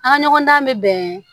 An ka ɲɔgɔn dan bɛ bɛn